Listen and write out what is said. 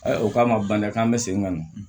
Ayiwa o k'a ma baniya k'an bɛ segin ka na